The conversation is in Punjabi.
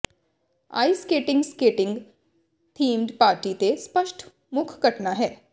ice skating skating themed party ਤੇ ਸਪਸ਼ਟ ਮੁੱਖ ਘਟਨਾ ਹੈ